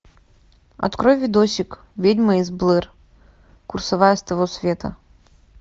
открой видосик ведьма из блэр курсовая с того света